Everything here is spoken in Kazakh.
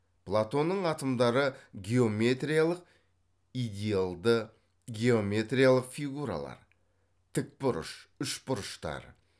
платонның атомдары геометриялық идеалды геометриялық фигуралар тік бұрыш үшбұрыштар